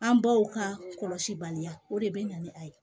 An baw ka kɔlɔsi baliya o de bɛ na ni a ye